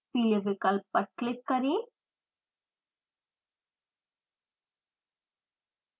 पीले विकल्प पर क्लिक करें